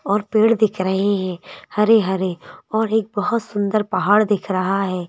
और पेड़ दिख रहे हैं हरे-हरे और एक बहुत सुंदर पहाड़ दिख रहा है।